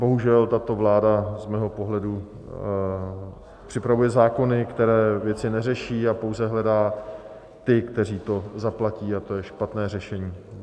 Bohužel tato vláda z mého pohledu připravuje zákony, které věci neřeší, a pouze hledá ty, kteří to zaplatí, a to je špatné řešení.